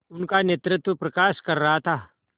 उनका नेतृत्व प्रकाश कर रहा था